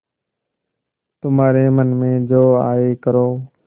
तुम्हारे मन में जो आये करो